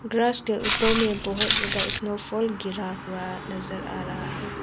Grass के ऊपर में बहोत ज्यादा स्नो फॉल गिरा हुआ नजर आ रहा है।